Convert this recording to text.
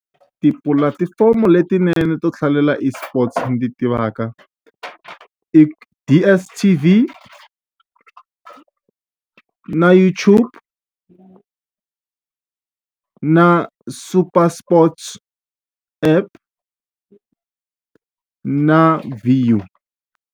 Tipulatifomo letinene to hlalela eSports ndzi ti tivaka i DSTV na YouTube na Super Sports app na .